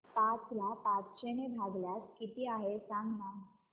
पाच ला पाचशे ने भागल्यास किती आहे सांगना